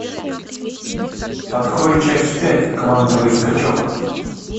открой часть пять квантовый скачок